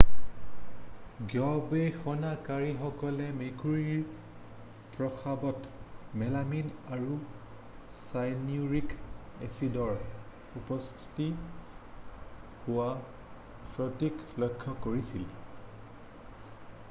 গৱেষণাকাৰীসকলে মেকুৰীৰ প্ৰস্ৰাবত মেলামিন আৰু চায়েনিউৰিক এচিডেৰে উৎপত্তি হোৱা স্ফটিক লক্ষ্য কৰিছিল